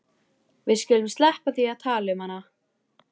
Við skulum sleppa því að tala um hana.